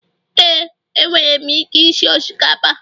Éè, enwere m ike isi osikapa